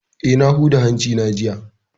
Eh, na huda hanci na jiya